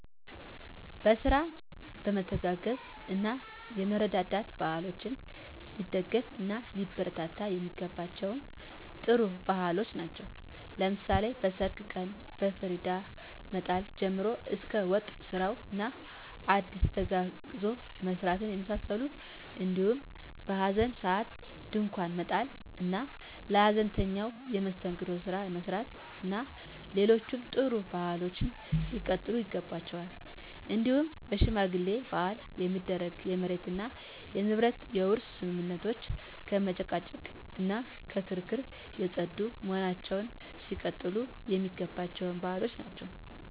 በስራ የመተጋገዝ እና የመረዳዳት ባህሎች ሊደገፍ እና ሊበረታቱ የሚገባቸም ጥሩ ባህሎች ናቸው። ለምሳሌ በሰርግ ቀን ከፍሪዳ መጣል ጀምሮ እስከ ወጥ ስራው እና ዳስ ተጋግዞ መስራትን የመሳሰሉት እንዲሁም በሀዘን ሰአት ድንኳን መጣል እና ለሀዘንተኛው የመስተንግዶ ስራ መስራት እና ሌሎችም ጥሩ ባህሎች ሊቀጥሉ ይገባቸዋል። እንዲሁም በሽማግሌ ማህል የሚደረጉ የመሬት እና የንብረት የውርስ ስምምነቶች ከመጨቃጨቅ እና ከክርክር የፀዱ በመሆናቸው ሊቀጥሉ የሚገባቸው ባህሎች ናቸው።